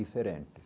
Diferente.